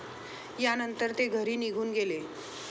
यानंतर ते घरी निघून गेले.